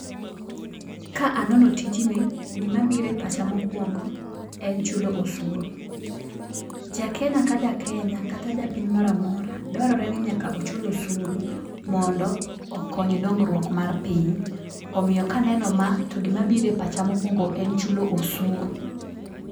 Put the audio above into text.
Ka anono tijni, gima bire pacha mokwongo en chulo osuru. Ja Kenya ka Jakenya kata ja piny moro amora dwarore ni ochul osuru mondo okony dongruok mar piny. Omiyo kanenpo ma to gima bire pacha mokwongo en chulo osuru.